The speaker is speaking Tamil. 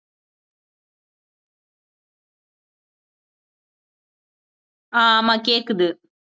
அஹ் ஆமா கேட்குது